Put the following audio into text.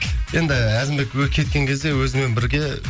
енді әзімбек кеткен кезде өзімен бірге